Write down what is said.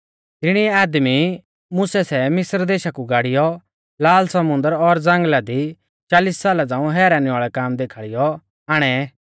तिणी आदमी मुसै सै मिस्र देशा कु गाड़िऔ लाल समुन्दर और ज़ांगल़ा दी चालिस साला झ़ांऊ हैरानी वाल़ै कामा देखाल़ीऔ आणै